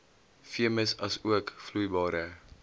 veemis asook vloeibare